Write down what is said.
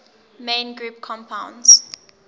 main group compounds